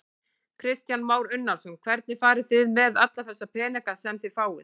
Kristján Már Unnarsson: Hvernig farið þið með alla þessa peninga sem þið fáið?